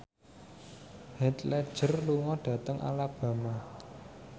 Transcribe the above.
Heath Ledger lunga dhateng Alabama